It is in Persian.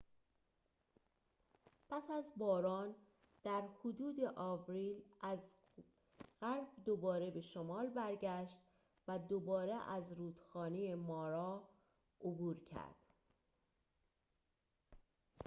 پس از باران در حدود آوریل از غرب دوباره به شمال برگشت و دوباره از رودخانه مارا عبور کرد